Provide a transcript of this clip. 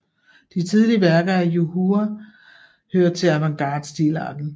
De tidlige værker af Yu Hua hører til avantgarde stilarten